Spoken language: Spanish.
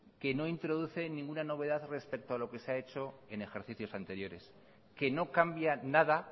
que no introduce ninguna novedad respecto a lo que se ha hecho en ejercicios anteriores que no cambia nada